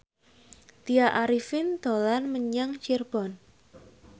Tya Arifin dolan menyang Cirebon